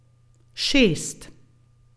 Šest.